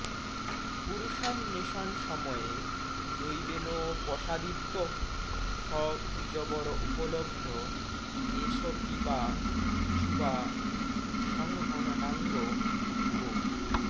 পুরুষান্বেষণসময়ে দৈবেনোপসাদিতঃ স দ্বিজবর উপলব্ধ এষ পীবা যুবা সংহননাঙ্গো গো